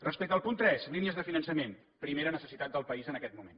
respecte al punt tres línies de finançament primera necessitat del país en aquest moment